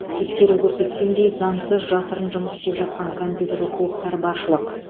тексеру көрсеткендей заңсыз жасырын жұмыс істеп жатқан компьютерлік клубтар баршылық